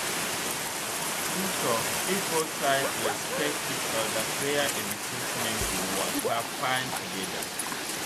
true talk if both sides respect each other prayer and treatment go waka fine together.